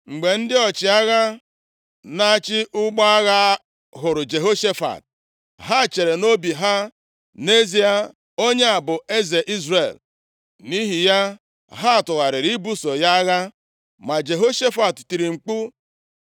Mgbe ndị ọchịagha, na-achị ụgbọ agha hụrụ Jehoshafat, ha chere nʼobi ha, “Nʼezie, onye a bụ eze Izrel.” Nʼihi ya ha tụgharịrị ibuso ya agha, ma Jehoshafat tiri mkpu,